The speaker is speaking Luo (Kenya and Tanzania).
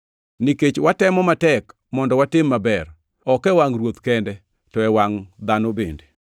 Nikech watemo matek mondo watim maber, ok e wangʼ Ruoth kende, to e wangʼ dhano bende.